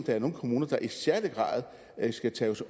der er nogle kommuner der i særlig grad skal tages